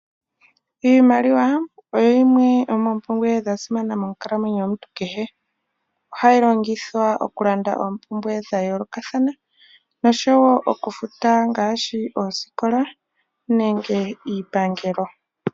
Iimaliwa oyo yimwe yomoopumbwe dha simana monkalamwenyo yomuntu kehe. Ohaye yi longitha okulanda oompumbwe dha yoolokathana nosho woo okufuta oosikola nenge iipangelo.